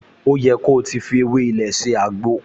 O yẹ ko ti fi ewé ilé ṣe àgbo!